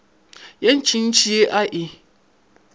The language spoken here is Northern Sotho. ye ntšintši ye a e